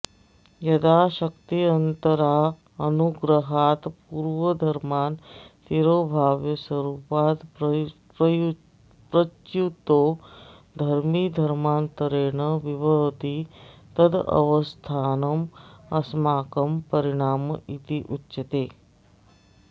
यदा शक्त्यन्तरानुग्रहात्पूर्वधर्मान् तिरोभाव्य स्वरूपादप्रच्युतो धर्मी धर्मान्तरेणाविर्भवति तदवस्थानमस्माकं परिणाम इत्युच्यते